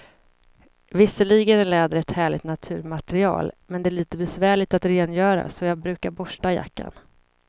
Visserligen är läder ett härligt naturmaterial, men det är lite besvärligt att rengöra, så jag brukar borsta jackan.